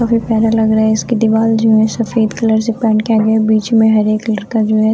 काफ़ी प्यारा लग रहा है इसके दिवार में सफेद कलर से पेंट किया गया है बीच में हरे कलर का जो है--